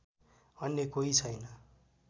अन्य कोही छैन